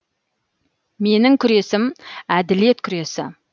менің күресім әділет күресі